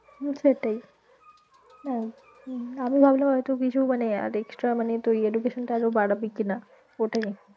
হম সেটাই তাই হম হম আমি ভাবলাম এতো কিছু মানে আরেকটা মানে তুই education টা আরো বারবি কি না ওইটাই আর কি